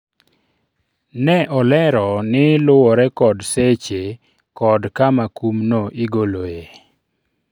ne olero ni luwore kod seche kod kama kumno igoloe